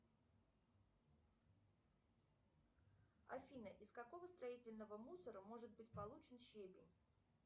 афина из какого строительного мусора может быть получен щебень